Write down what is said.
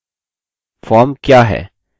form क्या है